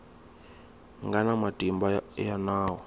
nga na matimba ya nawu